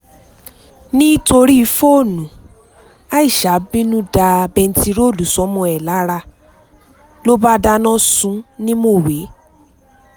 nítorí fóònù aisha bínú da bẹntiróòlù sọ́mọ ẹ̀ lára ló bá dáná sun ún ní mọ̀wé